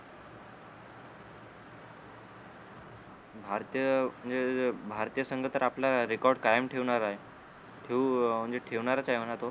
भारतीय म्हणजे जे भारतीय संघ तर आपला record कायम ठेवणार आहे ठेऊ अं म्हणजे ठेवणारच आहे म्हणा तो